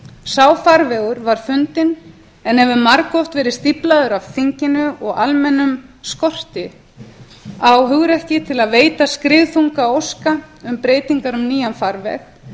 sá farvegur var fundinn en hefur margoft verið stíflaður af þinginu og almennum skorti á hugrekki til að veita skriðþunga óska um breytingar um nýjan farveg